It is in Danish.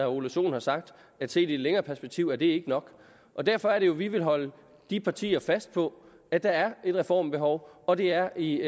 ole sohn har sagt at set i et længere perspektiv er det ikke nok derfor er det jo at vi vil holde de partier fast på at der er et reformbehov og det er i